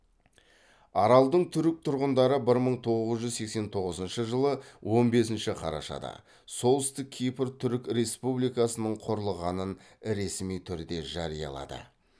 аралдың түрік тұрғындары бір мың тоғыз жүз сексен тоғызыншы он бесінші қарашада солтүстік кипр түрік республикасының құрылғанын ресми түрде жариялады